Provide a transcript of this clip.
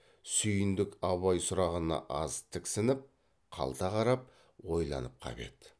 сүйіндік абай сұрағына аз тіксініп қалта қарап ойланып қап еді